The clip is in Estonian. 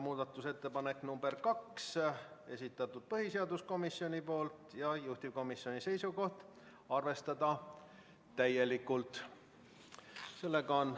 Muudatusettepanek nr 2, esitanud põhiseaduskomisjon ja juhtivkomisjoni seisukoht on arvestada täielikult.